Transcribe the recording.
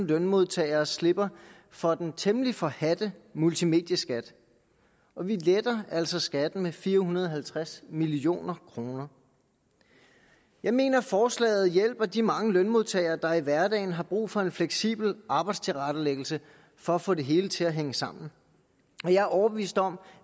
lønmodtagere slipper for den temmelig forhadte multimedieskat og vi letter altså skatten med fire hundrede og halvtreds million kroner jeg mener forslaget hjælper de mange lønmodtagere der i hverdagen har brug for en fleksibel arbejdstilrettelæggelse for at få det hele til at hænge sammen og jeg er overbevist om